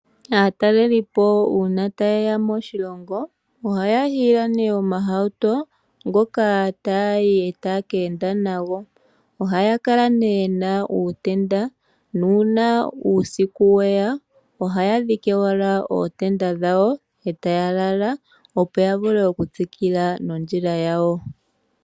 Aatelelipo uuna taye ya moshilongo, ohaya hiila nee omahauto ngoka taayi taaye keenda nago. Ohaya kala nee yena uuteda nuuna uusiku weya ohaya ya dhike ootenda dhawo etaya lala opo ya vule okutsukila nondjila yawo.